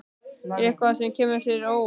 Er það eitthvað sem kemur þér á óvart?